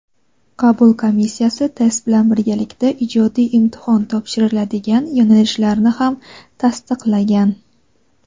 qabul komissiyasi test bilan birgalikda ijodiy imtihon topshiriladigan yo‘nalishlarni ham tasdiqlagan.